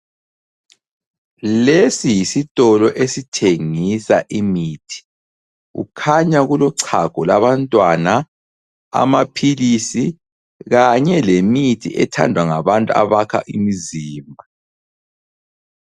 Lesi yisitolo esithengisa imithi. Kukhanya kulochago labantwana, amaphilisi kanye lemithi ethandwa ngabantu abakha imizimba.